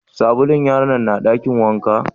Sabulun yaron na dakin wanka?